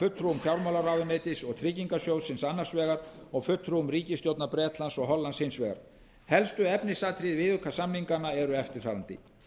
fulltrúum fjármálaráðuneytisins og tryggingarsjóðsins annars vegar og fulltrúum ríkisstjórna bretlands og hollands hins vegar helstu efnisatriði viðaukasamningsins eru eftirfarandi